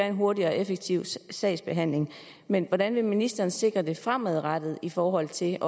en hurtig og effektiv sagsbehandling men hvordan vil ministeren sikre det fremadrettet i forhold til